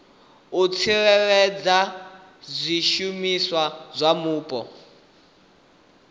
u tsireledza zwishumiswa zwa mupo